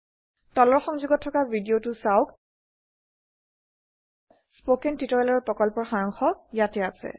তলৰ সংযোগত থকা ভিদিয়তো চাওক httpspoken tutorialorgWhat is a Spoken Tutorial spoken tutorial প্ৰকল্পৰ সাৰাংশ ইয়াতে আছে